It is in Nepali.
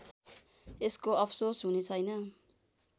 यसको अफसोस हुनेछैन